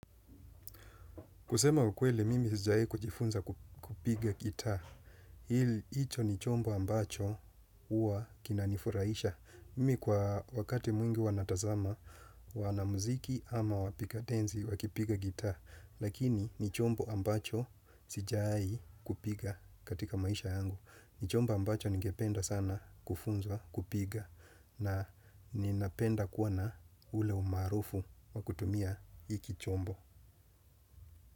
Kusema ukweli, mimi sijawai kujifunza kupiga gitaa. Hili, hicho ni chombo ambacho huwa kinanifurahisha. Mimi kwa wakati mwingi huwa natazama, wanamuziki ama wapiga densi, wakipiga gitaa. Lakini, ni chombo ambacho sijai kupiga katika maisha yangu. Ni chombo ambacho ningependa sana kufunzwa, kupiga. Na ninapenda kuwa na ule umaarufu wa kutumia hiki chombo.